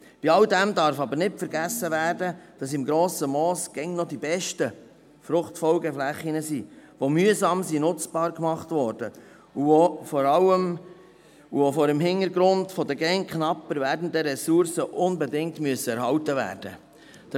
Bei alldem darf aber nicht vergessen werden, dass im Grossen Moos immer noch die besten Fruchtfolgeflächen (FFF) liegen, die mühsam nutzbar gemacht wurden und die vor allem auch vor dem Hintergrund der immer knapper werdenden Ressourcen unbedingt erhalten werden müssen.